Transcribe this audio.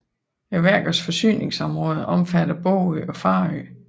Værkets forsyningsområde omfatter Bogø og Farø